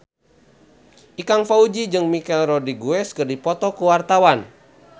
Ikang Fawzi jeung Michelle Rodriguez keur dipoto ku wartawan